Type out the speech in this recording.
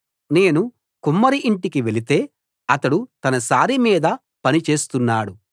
నేను కుమ్మరి ఇంటికి వెళితే అతడు తన సారె మీద పని చేస్తున్నాడు